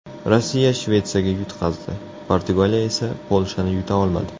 Rossiya Shvetsiyaga yutqazdi, Portugaliya esa Polshani yuta olmadi.